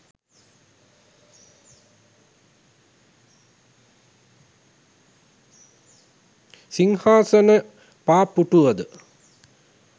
සිංහාසන පා පුටුවද